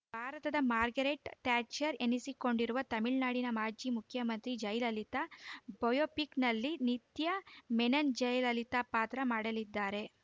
ಭಾರತದ Margaret Thatcher ಎನ್ನಿಸಿಕೊಂಡಿರುವ ತಮಿಳುನಾಡಿನ ಮಾಜಿ ಮುಖ್ಯಮಂತ್ರಿ ಜಯಲಲಿತಾ ಬಯೋಪಿಕ್‌ನಲ್ಲಿ ನಿತ್ಯಾ ಮೆನನ್‌ ಜಯಲಲಿತಾ ಪಾತ್ರ ಮಾಡಲಿದ್ದಾರೆ